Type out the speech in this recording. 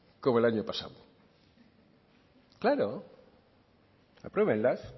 como el año pasado claro apruébenlas